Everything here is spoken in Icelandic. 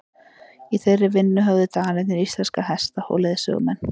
í þeirri vinnu höfðu danirnir íslenska hesta og leiðsögumenn